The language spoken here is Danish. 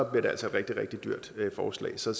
blev det altså et rigtig rigtig dyrt forslag så